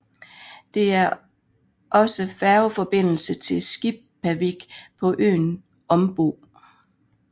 Det er også færgeforbindelse til Skipavik på øen Ombo